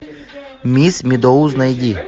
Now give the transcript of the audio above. мисс медоуз найди